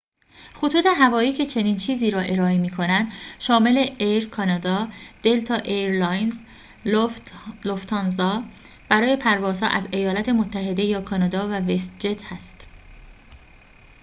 خطوط هوایی که چنین چیزی را ارائه می‌کنند شامل ایر کانادا دلتا ایرلاینز لوفت‌هانزا برای پروازها از ایالات متحده یا کانادا و وست جت است